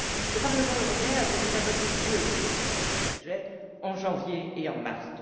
Le Parlement européen avait déjà voté deux résolutions à ce sujet, en janvier et en mars